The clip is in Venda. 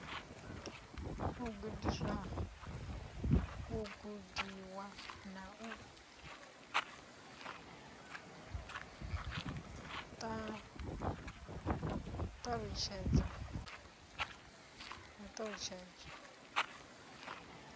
u gudiwa na u ṱalutshedzwa